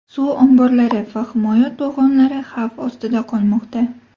Suv omborlari va himoya to‘g‘onlari xavf ostida qolmoqda.